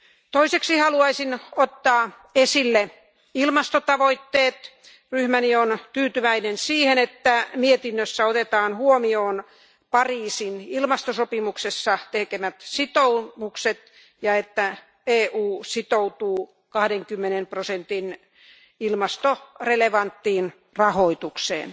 Toiseksi haluaisin ottaa esille ilmastotavoitteet. Ryhmäni on tyytyväinen siihen, että mietinnössä otetaan huomioon Pariisin ilmastosopimuksessa tehdyt sitoumukset ja että EU sitoutuu 20 prosentin ilmastorelevanttiin rahoitukseen.